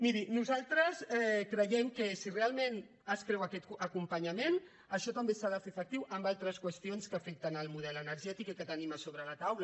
miri nosaltres creiem que si realment es creu aquest acompanyament això també s’ha de fer efectiu en altres qüestions que afecten el model energètic i que tenim a sobre la taula